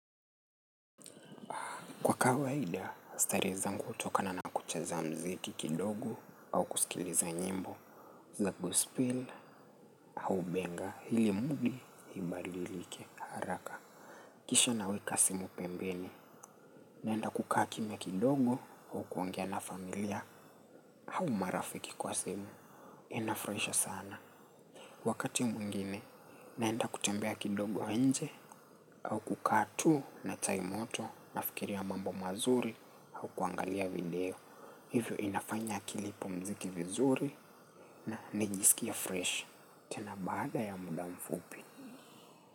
Kwa kawaida, stare zangu utoka na nakucheza mziki kidogo au kusikiliza nyimbo. Za gospel au benga ili mudi ibadilike haraka. Kisha naweka simu pembeni. Naenda kukaa kimya kidogo au kuongea na familia au marafiki kwa simu. Inafurahisha sana. Wakati mwingine, naenda kutembea kidogo nje au kukaa tu na chai moto nafikiria mambo mazuri au kuangalia video. Hivyo inafanya akili ipumzike vizuri na nijisikie fresh tena baada ya muda mfupi.